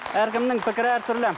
әркімнің пікірі әртүрлі